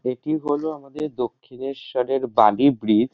এটি হল আমাদের দক্ষিণেশ্বরের বালি ব্রিজ ।